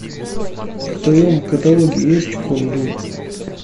в твоем каталоге есть кундун